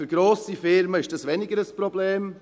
Für grosse Firmen ist dies weniger ein Problem.